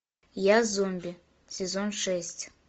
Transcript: я зомби сезон шесть